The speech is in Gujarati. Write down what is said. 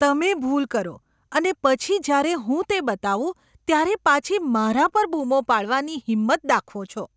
તમે ભૂલ કરો અને પછી જ્યારે હું તે બતાવું ત્યારે પાછી મારા પર બૂમો પાડવાની હિંમત દાખવો છો.